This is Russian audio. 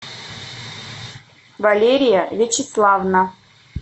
валерия вячеславовна